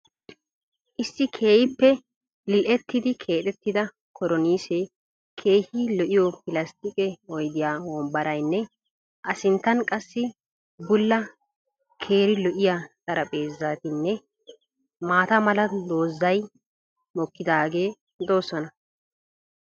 Issi keehiippe lil'ettidi keexettida koronniissee keehii lo'iyo pilastiiqqe oyddiya wombbaraynne a sinttaan qassi bulla keeri lo'iya xaraphpheezatinne maata mala doozzay mokidaage doosonna.